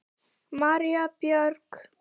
María Björg.